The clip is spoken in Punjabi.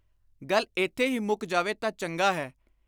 ਗੱਲ ਇਥੇ ਹੀ ਮੁੱਕ ਜਾਵੇ ਤਾਂ ਚੰਗਾ ਹੈ।